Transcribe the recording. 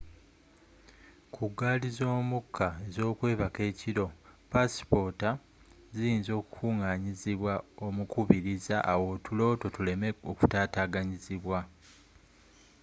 ku gaali z'omukka ez'okwebaka ekiro passipota ziyinza okukunganyizibwa omukubiriza awo otulo two tuleme okutataganyizibwa